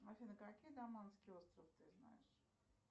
афина какие даманские острова ты знаешь